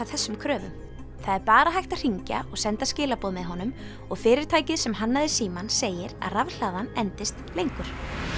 þessum kröfum það er bara hægt að hringja og senda skilaboð með honum og fyrirtækið sem hannaði símann segir að rafhlaðan endist lengur